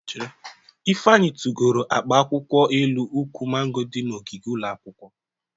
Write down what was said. Ifeanyị tugoro akpa akwụkwọ elu ukwu mango dị n'ogige ụlọ akwụkwọ.